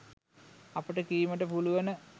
අපට කීමට පුළුවන.